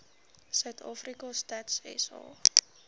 suidafrika stats sa